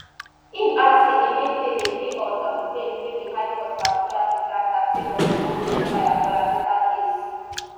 im add say emefiele dey on um bail wey di high court for abuja bin grant am sake on im ongoing trial for anoda case